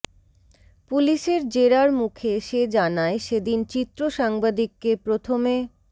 পুলিসের জেরার মুখে সে জানায় সেদিন চিত্র সাংবাদিককে প্রথমে